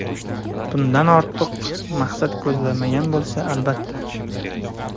Bundan ortiq maqsad ko‘zlanmagan bo‘lsa, albatta.